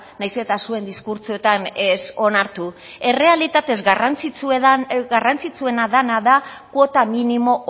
nahiz eta zuen diskurtsoan ez onartu errealitatez garrantzitsuena dena dan kuota minimo